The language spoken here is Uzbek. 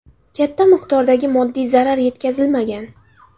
Katta miqdordagi moddiy zarar yetkazilmagan.